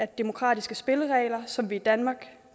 demokratiske spilleregler som vi i danmark